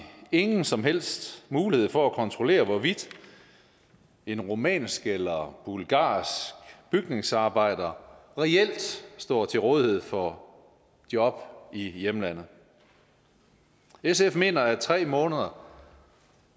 ingen som helst mulighed for at kontrollere hvorvidt en rumænsk eller bulgarsk bygningsarbejder reelt står til rådighed for job i hjemlandet sf mener at tre måneder